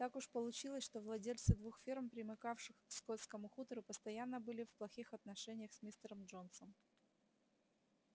так уж получилось что владельцы двух ферм примыкавших к скотскому хутору постоянно были в плохих отношениях с мистером джонсом